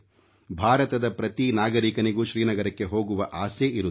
ಭಾರತದ ಪ್ರತಿ ನಾಗರಿಕನಿಗೂ ಶ್ರೀನಗರಕ್ಕೆ ಹೋಗುವ ಆಸೆ ಇರುತ್ತದೆ